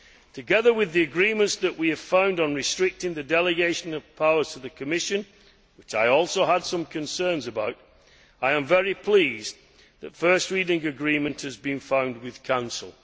Together with the agreements that we have reached on restricting the delegation of powers to the Commission which I also had some concerns about I am very pleased that first reading agreement has been found with Council.